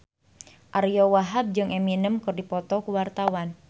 Ariyo Wahab jeung Eminem keur dipoto ku wartawan